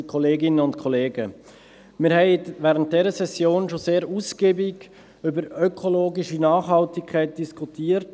Wir haben in dieser Session schon sehr ausgiebig über ökologische Nachhaltigkeit diskutiert.